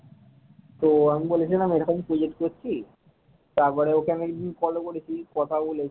তো আমি বলেছিলাম এরকম project করছি তারপরে ওকে একদিন follow করেছি কথা বলেছি।